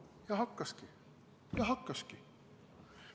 " Ja hakkaski, ja hakkaski.